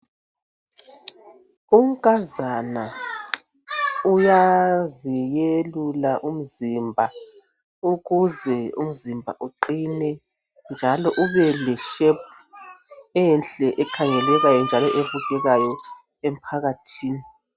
Unkazana uyaziyelula umzimba ukuze umzimba uqine njalo ube leshepu enhle ekhangelekayo njalo ebukekayo emphakathini.